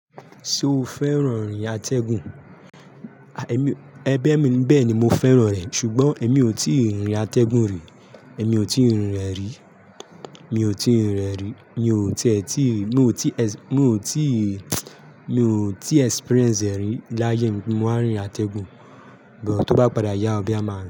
Ṣo fẹ́ràn ìrìn atẹ́gùn? Ẹ bẹ́e ni bẹ́ẹ̀ni mo fẹ́ràn rẹ̀ ṣùgbọ́n èmi ò tíì rinrin atẹ́gùn rí, èmi ò tíì rinrin ẹ̀ rí, mi ò tíì rinrin ẹ̀ rí, mi ò tí è tí, mi ò tí es--, mi ò tí, mi ò tí experience ẹ rí láyé mi pe mo wá n rinrìn atẹ́gùn, but tó bá padà yá ọ boya máa rin.